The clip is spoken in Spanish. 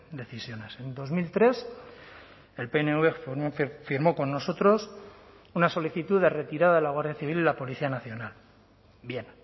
decisiones en dos mil tres el pnv firmó con nosotros una solicitud de retirada de la guardia civil y la policía nacional bien